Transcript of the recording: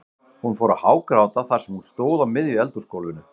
Hún fór að hágráta þar sem hún stóð á miðju eldhúsgólfinu.